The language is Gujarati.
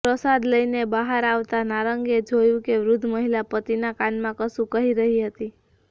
પ્રસાદ લઇને બાહર આવતાં નારંગે જોયું કે વૃધ્ધ મહિલા પતિના કાનમાં કશું કહી રહી હતી